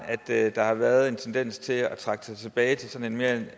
har været en tendens til at trække sig tilbage til sådan en